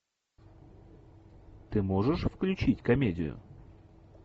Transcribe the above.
ты можешь включить комедию